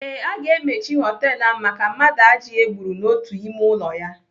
Ee, aga emechi họtelu ahụ maka mmadụ ajị e gburu n'otu ime ụlọ ya.